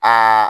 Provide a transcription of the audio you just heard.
Aa